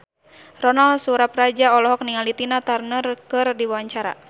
Ronal Surapradja olohok ningali Tina Turner keur diwawancara